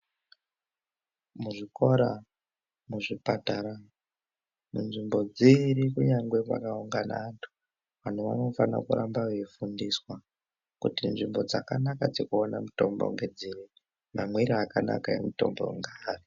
Muzvikora ,muzvipatara ,munzvimbo dziri kunyangwe kwakaungana antu, antu vanofanira kuramba vaifundiswa kuti nzvimbo dzakanaka dzekuwana mutombo ngedziri, mamwire akanaka emutombo ngeari.